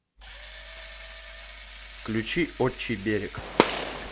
включи отчий берег